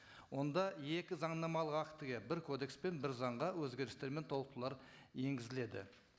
онда екі заңнамалық актіге бір кодекс пен бір заңға өзгерістер мен толықтырулар енгізіледі